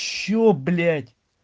что блять